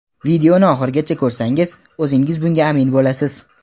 Videoni oxirigacha ko‘rsangiz o‘zingiz bunga amin bo‘lasiz.